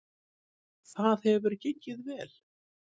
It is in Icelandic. Það hefur gengið vel.